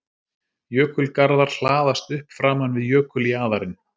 Jökulgarðar hlaðast upp framan við jökuljaðarinn.